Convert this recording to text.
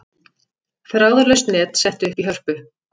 Þráðlaust net sett upp í Hörpu